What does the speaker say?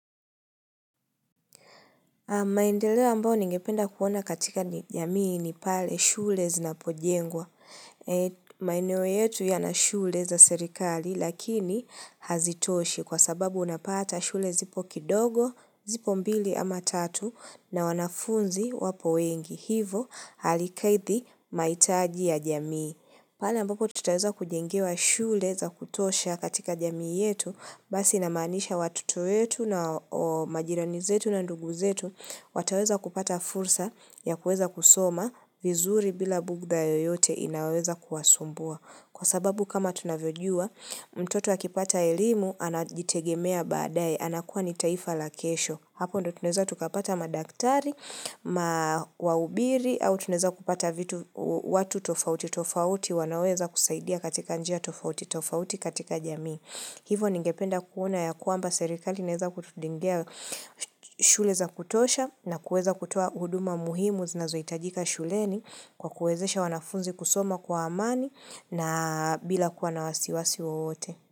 Maendeleo ambayo ningependa kuona katika ni jamii ni pale shule zinapojengwa. Maeneo yetu ya na shule za serikali lakini hazitoshi kwa sababu unapata shule zipo kidogo, zipo mbili ama tatu na wanafunzi wapo wengi. Hivo halikidhi mahitaji ya jamii. Pala ambapo tutaweza kujengewa shule za kutosha katika jamii yetu, basi inamanisha watoto wetu na majirani zetu na ndugu zetu, wataweza kupata fursa ya kuweza kusoma vizuri bila bugda yoyote inayoweza kuwasumbua. Kwa sababu kama tunavyojua, mtoto akipata elimu, anajitegemea baadae, anakuwa ni taifa la kesho. Hapo ndio tunaweza tukapata madaktari, ma wabiri, au tunaweza kupata vitu watu tofauti tofauti, wanaweza kusaidia katika njia tofauti tofauti katika jamii. Hivyo ningependa kuona ya kwamba serikali inaweza kutujengea shule za kutosha na kuweza kutoa huduma muhimu zinazohitajika shuleni kwa kuwezesha wanafunzi kusoma kwa amani na bila kuwa na wasiwasi wote.